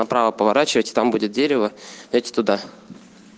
направо поворачивайте там будет дерево эти туда